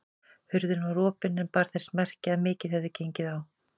Hurðin var opin en bar þess merki að mikið hefði gengið á.